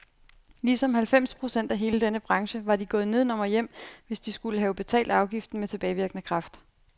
Ligesom halvfems procent af hele denne branche var de gået nedenom og hjem, hvis de skulle have betalt afgiften med tilbagevirkende kraft.